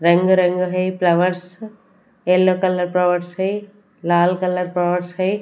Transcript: रंग रंग है फ्लावर्स येलो कलर फ्लॉवर्स है लाल कलर फ्लॉवर्स है।